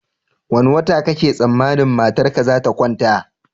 Wane wata kake tsammanin matarka zata kwanta?